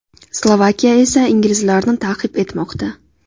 Slovakiya esa inglizlarni ta’qib etmoqda.